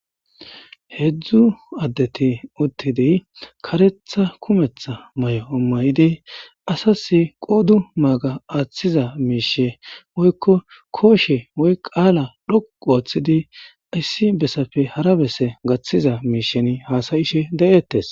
Heedzdzu addeti uttidiy karetha kumetha may'o ommayidi asas qoodu maaga aaththiza miishe woykko kooshe woy qaala dhoqu ooththidi issi bessafe hara besse gaththiza miishen haasayishe de'eettes